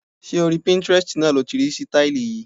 Ṣé orí Pinterest náà lo ti rí sítáílì yìí?